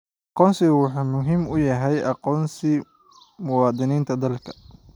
Aqoonsigu wuxuu muhiim u yahay aqoonsiga muwaadiniinta dalka.